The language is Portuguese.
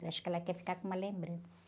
Eu acho que ela quer ficar com uma lembrança.